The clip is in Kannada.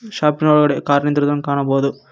ಶಾಪ್ ನ ಒಳಗಡೆ ಕಾರ್ ನಿಂದ್ರಿರುವುದನ್ನು ಕಾಣಬೋದು.